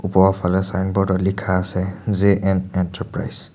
ওপৰৰ ফালে চাইনব'ৰ্ড ত লিখা আছে জে_এন এণ্টাৰপ্ৰাইজ ।